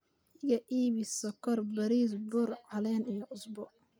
iga iibbi sokor, baris, bur, calen iyo cusbo